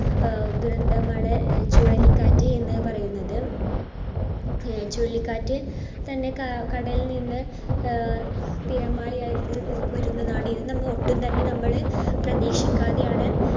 ആഹ് ദുരന്തമാണ് ചുഴലിക്കാറ്റ് എന്ന് പറയുന്നത് ചുഴലിക്കാറ്റ് തന്നെ ക~കടലിൽ നിന്ന് ആഹ് തിരമലായായി വരുന്നതാണ്. ഇത് തന്നെ ഒട്ടും നമ്മൾ പ്രതീക്ഷിക്കാതെയാണ്